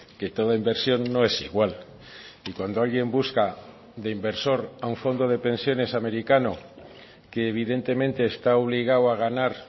que toda inversión no es igual y cuando alguien busca de inversor a un fondo de pensiones americano que evidentemente está obligado a ganar